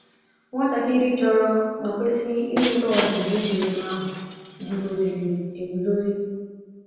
Nwatakịrị chọrọ ma kwesị inweta ọzụzụ dị otú ahụ guzoziri eguzozi.